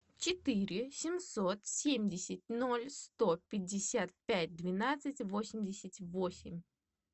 четыре семьсот семьдесят ноль сто пятьдесят пять двенадцать восемьдесят восемь